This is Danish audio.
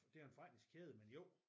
Det er jo en forretningskæde men jo